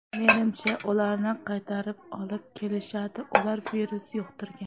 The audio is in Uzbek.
Menimcha, ularni qaytarib olib kelishadi, ular virus yuqtirgan.